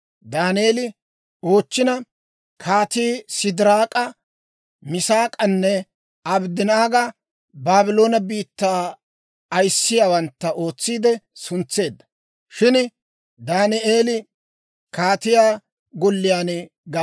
Daaneeli oochchina, kaatii Sidiraak'a, Misaak'anne Abddanaaga Baabloone biittaa ayissiyaawantta ootsiide suntseedda; shin Daaneeli kaatiyaa golliyaan gam"eedda.